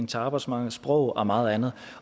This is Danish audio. til arbejdsmarkedet sproget og meget andet